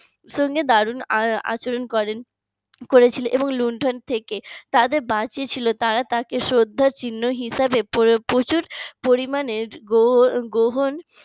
সঙ্গে দারুন আচরণ করেন করেছিলেন এবং লুণ্ঠন থেকে তাদের বাঁচিয়েছিলেন তারা তাকে শ্রদ্ধার চিহ্ন হিসাবে প্রচুর পরিমাণে গ্রহ গ্রহণ